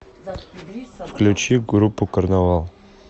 включи группу карнавал